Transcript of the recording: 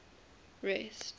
rest